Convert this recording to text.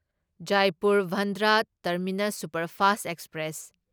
Jaipur Bandra terminus superfast express